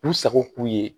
K'u sago k'u ye